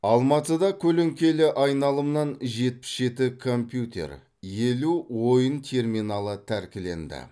алматыда көлеңкелі айналымнан жетпіс жеті компьютер елу ойын терминалы тәркіленді